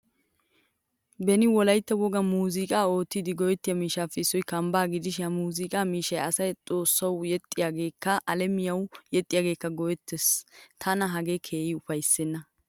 Beni wolaytta wogan muuzziqa oottidi go'ettiyo miishshappe issoy kamba gidishin ha muuzzuqqa miishsha asay xoossawu yeexiyagekka alamiyawu yexiyagekka go'eettees. Tana hagee keehin ufaysena.